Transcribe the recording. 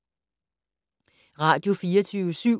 Radio24syv